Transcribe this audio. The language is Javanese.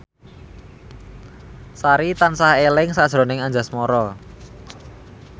Sari tansah eling sakjroning Anjasmara